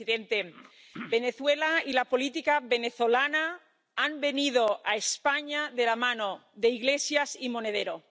Señor presidente, Venezuela y la política venezolana han venido a España de la mano de Iglesias y Monedero.